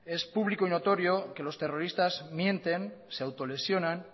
es público y notorio que los terroristas mienten se autolesionan